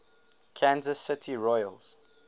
kansas city royals